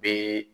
Be